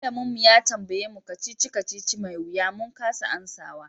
Malamin mu ya tambaye mu kacici-kacici mai wiya min kasa amsawa.